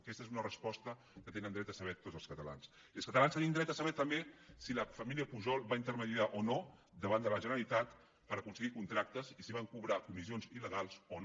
aquesta és una resposta que tenen dret a saber tots els catalans i els catalans tenim dret a saber també si la família pujol va mitjançar o no davant de la generalitat per aconseguir contractes i si van cobrar comissions il·legals o no